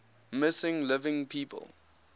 missing living people